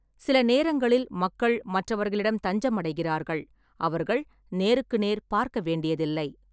சில நேரங்களில் மக்கள் மற்றவர்களிடம் தஞ்சம் அடைகிறார்கள், அவர்கள் நேருக்கு நேர் பார்க்க வேண்டியதில்லை.